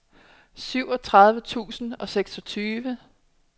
syvogtredive tusind og seksogtyve